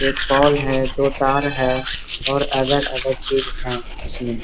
एक पोल है दो तार है और अदर अदर चीज़ है इसमें।